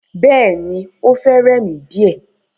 Bẹ́ẹ̀ni, o fẹ́ rẹ̀ mi díè.